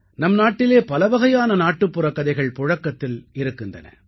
நம் நாட்டிலே பலவகையான நாட்டுப்புறக் கதைகள் புழக்கத்தில் இருக்கின்றன